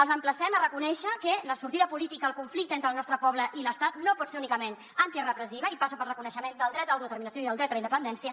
els emplacem a reconèixer que la sortida política al conflicte entre el nostre poble i l’estat no pot ser únicament antirepressiva i passa pel reconeixement del dret a l’autodeterminació i del dret a la independència